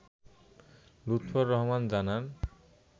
লুৎফর রহমান জানান